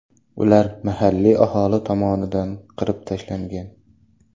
Ular mahalliy aholi tomonidan qirib tashlangan.